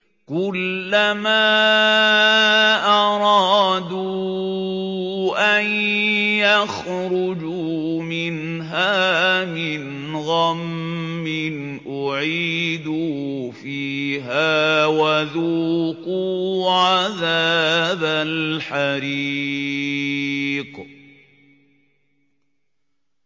كُلَّمَا أَرَادُوا أَن يَخْرُجُوا مِنْهَا مِنْ غَمٍّ أُعِيدُوا فِيهَا وَذُوقُوا عَذَابَ الْحَرِيقِ